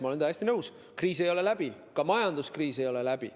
Ma olen täiesti nõus, kriis ei ole läbi, ka majanduskriis ei ole läbi.